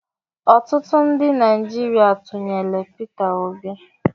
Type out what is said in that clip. Ọtụtụ ndị Naijiria tụnyelụ Pita Obi.